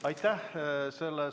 Aitäh!